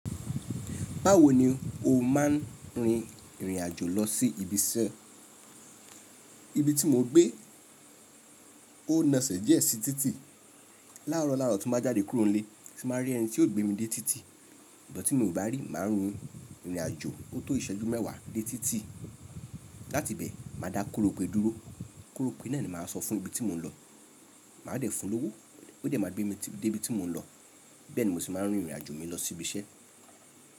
Báwo ni o máa ń rin ìrìn àjò lọ sí ibi iṣẹ́? Ibi tí mo gbé, ó ná ẹsẹ̀ díẹ̀ sí títì. Láàárọ̀ láàárọ̀ tó bá jáde kúrò nílé, sì máa rí ẹni tí yóò gbé mi dé títì. Ṣùgbọ́n tí mi ò bá rí, màá rìn ìrìn àjò ọtọ́ ìṣẹ́jú mẹ́wàá dé títì. Láti bẹ̀, màá dá korope dúró. Korope náà ni màá sọ fún ní ibi tí mò ń lọ. Màá dẹ̀ fún lówo. Ó dẹ̀ máa gbé mi dé ibi tí mò ń lọ. Bẹ́ẹ̀ ni mo sì máa ń rin ìrìn àjò mi lọ sí ibi iṣẹ́.